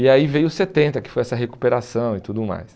E aí veio setenta, que foi essa recuperação e tudo mais.